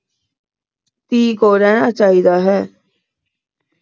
ਧੀ ਕੋਲ ਰਹਿਣਾ ਚਾਹੀਦਾ ਹੈ।